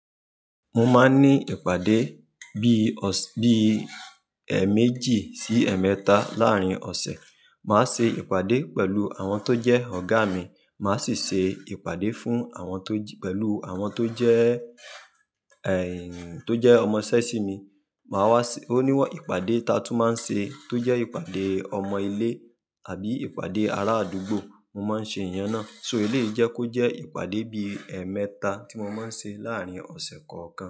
Mo máa ń ní ìpàdé bí i ọ̀s-- bí i ẹ́ẹ̀méjì sí ẹ́ẹ̀mẹ́ta láàárín ọ̀sẹ̀. Màá ṣe ìpàdé pẹ̀lú àwọn tó jẹ́ ọ̀gá mi, màá sì ṣe ìpàdé fún àwọn tó j-- pẹ̀lú àwọn tó jẹ́ ẹ́ẹ̀, tó jẹ́ ọmọ iṣẹ́ si mi. Màá wá ṣè-- òní, wà, ìpàdé taa tún máa n ṣe tó jẹ́ ìpàdé ọmọ ilé àbí ìpàdé ará àdúgbò, mo máa ṣe ìyẹn náà. So, eleyi jẹ́ kọ́ jẹ́ ìpàdé bí i ẹ́ẹ̀mẹ́ta tí mo máa ń ṣe láàárín ọ̀sẹ̀ kan kan.